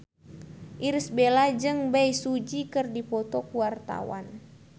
Irish Bella jeung Bae Su Ji keur dipoto ku wartawan